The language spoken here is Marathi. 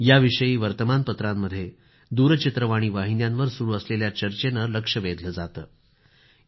याविषयी वर्तमानपत्रांमध्ये दूरचित्रवाणी वाहिन्यांवर सुरू असलेल्या चर्चेने लक्ष वेधलं जातं